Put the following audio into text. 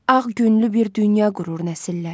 Ağ günlü bir dünya qurur nəsillər.